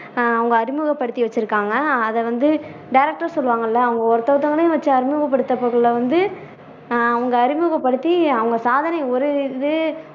ஆஹ் அவங்க அறிமுகப்படுத்தி வச்சுருக்காங்க அதை வந்த director னு சொல்லுவாங்கல்ல அவங்க ஒருத்த ஒருத்தவங்களையும் வச்சு அறிமுகப்படுத்தக்குல்ல வந்து ஆஹ் அவங்க அறிமுகப்படுத்தி அவங்க சாதனை ஒரு இது